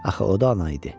Axı o da ana idi.